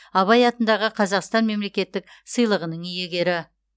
абай атындағы қазақстан мемлекеттік сыйлығының иегері